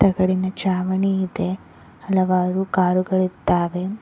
ತಗಡಿನ ಚಾವಣಿ ಇದೆ ಹಲವಾರು ಕಾರುಗಳ ಇದ್ದಾವೆ.